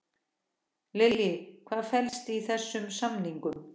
Lillý, hvað felst í þessum samningum?